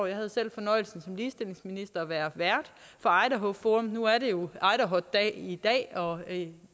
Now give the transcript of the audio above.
jeg havde selv fornøjelsen af som ligestillingsminister at være vært for idaho forum og nu er det jo idahot dag i dag og i